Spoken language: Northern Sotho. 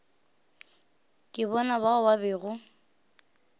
ke bona bao ba bego